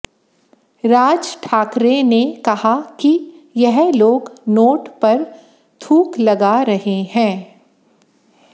राज ठाकरे ने कहा कि यह लोग नोट पर थूक लगा रहे हैं